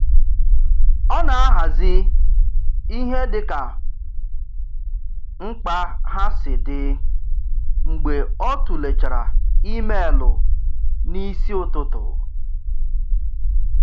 Ọ na-ahazị ihe dịka mkpa ha si dị mgbe o tụlechara imeelụ n'isi ụtụtụ.